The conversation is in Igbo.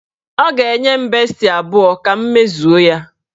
Ọ ga-enye m besti abụọ ka m mezuo ya.